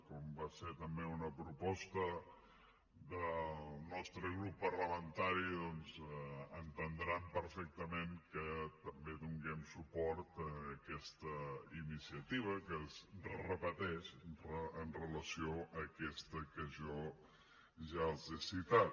com va ser també una proposta del nostre grup parlamentari doncs entendran perfectament que també donem suport a aquesta iniciativa que es repeteix amb relació a aquesta que jo ja els he citat